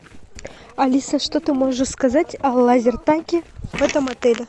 алиса что ты можешь сказать о лазертаге в этом отеле